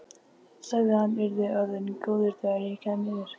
Sagði að hann yrði orðinn góður þegar ég kæmi yfir.